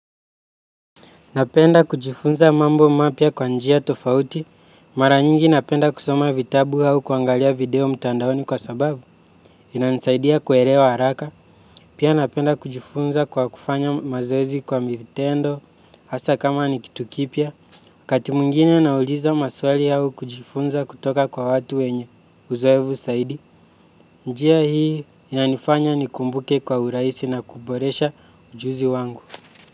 Napenda kujifunza mambo mapya kwa njia tofauti, mara nyingi napenda kusoma vitabu au kuangalia video mtandaoni kwa sababu, inanisaidia kuelewa haraka, pia napenda kujifunza kwa kufanya mazoezi kwa vitendo, hasa kama ni kitu kipya, wakati mwingine nauliza maswali au kujifunza kutoka kwa watu wenye uzoefu zaidi, njia hii inanifanya nikumbuke kwa urahisi na kuboresha ujuzi wangu.